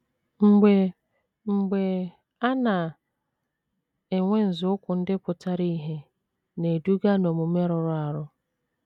Mgbe mgbe, a na - enwe nzọụkwụ ndị pụtara ìhè na - eduga n’omume rụrụ arụ.